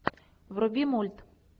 вруби мульт